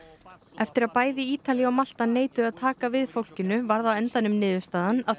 eftir að bæði Ítalía og Malta neituðu að taka við fólkinu varð á endanum niðurstaðan að